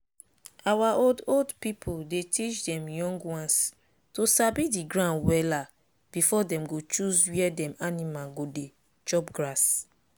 our old old pipu dey teach dem young ones to sabi the ground wella before dem go choose where dem animal go dey chop grass.